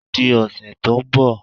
O di ọ̀sẹ̀ tó ń bọ̀